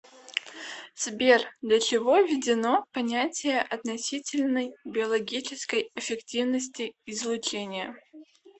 сбер для чего введено понятие относительной биологической эффективности излучения